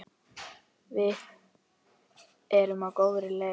Við erum á góðri leið.